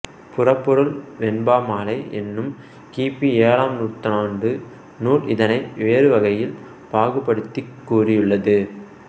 புறப்பொருள் வெண்பாமாலை என்னும் கி பி ஏழாம் நூற்றாண்டு நூல் இதனை வேறுவகையில் பாகுபடுத்திக் கூறியுள்ளது